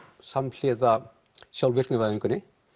samhliða sjálfvirkni væðingu